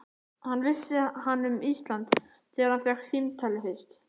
Hvað vissi hann um Ísland þegar hann fékk símtalið fyrst?